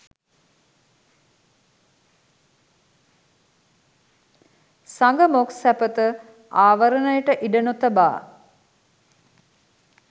සග මොක් සැපත ආවරණයට ඉඩ නොතබා